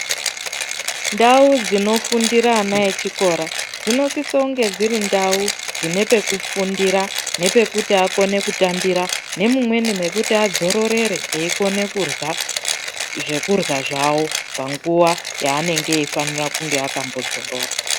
Ndau dzinofundira ana echikora dzinosisa kunge dziri ndau dzine pekufundira nepekuti akone kutambira nemumweni mekuti adzororere eikone kurya zvekurya zvawo panguwa yaanenge eifanira kunge akambodzorora.